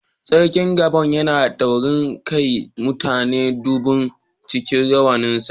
Sarkin Gbogan yana da taurin kai, ya mutu duban cikin rawanin sa.